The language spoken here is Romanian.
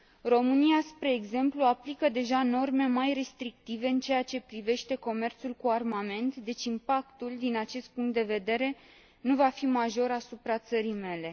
România, spre exemplu, aplică deja norme mai restrictive în ceea ce privește comerțul cu armament, deci impactul din acest punct de vedere nu va fi major asupra țării mele.